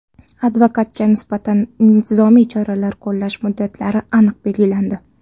Advokatga nisbatan intizomiy choralar qo‘llash muddatlari aniq belgilandi.